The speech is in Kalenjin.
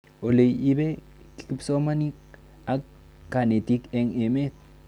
Ole ipe kipsomanik ak kanetik eng' emet